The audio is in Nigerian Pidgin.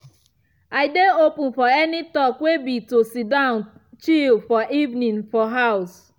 i dey open for any talk way be to sidon chile for evening for house.